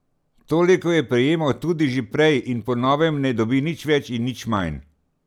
Toliko je prejemal tudi že prej in po novem ne dobi nič več in nič manj.